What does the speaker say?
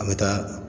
An bɛ taa